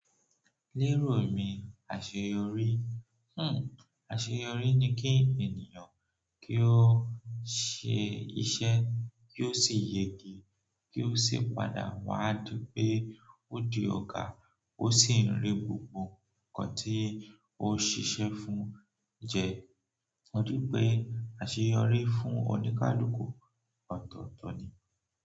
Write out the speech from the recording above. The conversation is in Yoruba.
Lérò mi, àṣeyọrí, hmm àṣeyọrí ni kí ènìyàn kí ó ṣe iṣẹ́ kí ó sì yege, kí ó sì padà wá di pé ó di ọ̀gá ó sì ń rí gbogbo nǹkan tí ó ṣiṣẹ́ fún jẹ. Ó dípé àṣeyọrí fún oníkálukú ọ̀tọ̀ọ̀tọ̀ ni.